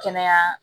Kɛnɛya